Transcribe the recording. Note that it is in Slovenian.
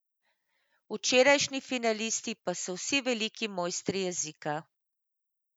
Včerajšnji finalisti pa so vsi veliki mojstri jezika.